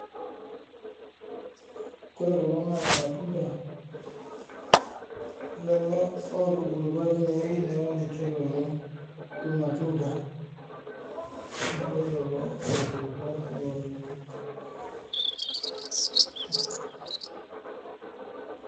Kore kulo naa irmatunda. Lelo otubulutua tenewuei . Neaku ninche lelo irmatunda, ninche lelo otubulutua tenewuei.